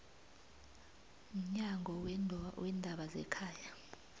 mnyango weendaba zekhaya